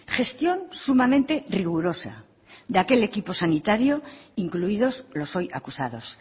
gestión sumamente rigurosa de aquel equipo sanitario incluidos los hoy acusados